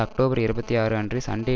October இருபத்தி ஆறு அன்று சண்டே